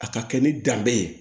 A ka kɛ ni danbe ye